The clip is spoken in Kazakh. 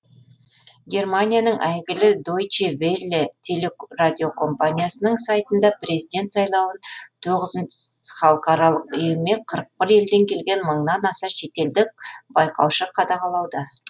германияның әйгілі дойче велле телекорадиокомпаниясының сайтында президент сайлауын тоғызы халықаралық ұйым мен қырық бір елден келген мыңнан аса шетелдік байқаушы қадағалауда